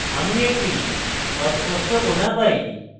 আমি একটি অস্পষ্ট corner পাই